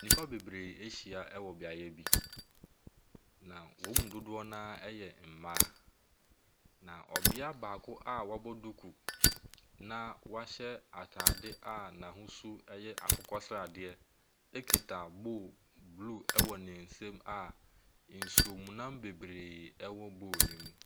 Nipa bebree ɛhyia wɔ beaeɛ bi. Na wɔn mu dodoɔ naa ɛyɛ mmaa. Na ɔbia baako a wabɔ duku a wɔahyɛ ataade a n'ahosuo ɛyɛ akokɔ sradeɛ ekita bowl blue ɛwɔ nensɛm a nsuomu nam bebree ɛwɔ bowl nim.